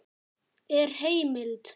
Er heimild?